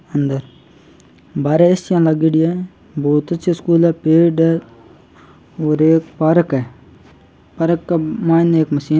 अंदर बारे A C लागेडी ए बहुत अच्छो स्कूल ए पेड ए और एक पार्क पार्क का मायने एक मशी --